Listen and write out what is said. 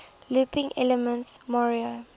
looping elements mario